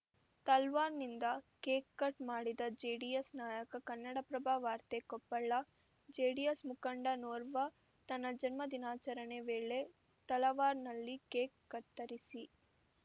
ತಲ್ವಾರ್ ನಿಂದ cake cut ಮಾಡಿದ JDS ನಾಯಕ ಕನ್ನಡಪ್ರಭ ವಾರ್ತೆ ಕೊಪ್ಪಳ ಜೆಡಿಎಸ್‌ ಮುಖಂಡನೋರ್ವ ತನ್ನ ಜನ್ಮ ದಿನಾಚರಣೆ ವೇಳೆ ತಲವಾರ್‌ನಲ್ಲಿ ಕೇಕ್‌ ಕತ್ತರಿಸಿ